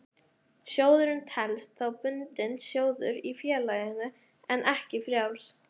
Sjóðurinn telst þá bundinn sjóður í félaginu en ekki frjáls.